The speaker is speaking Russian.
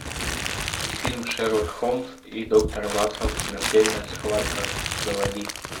фильм шерлок холмс и доктор ватсон смертельная схватка заводи